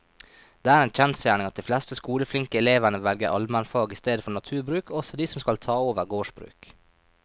Det er en kjensgjerning at de fleste skoleflinke elevene velger allmennfag i stedet for naturbruk, også de som skal ta over gårdsbruk.